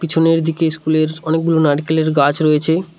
পিছনের দিকে স্কুলের অনেকগুলো নাইরকেলের গাছ রয়েছে।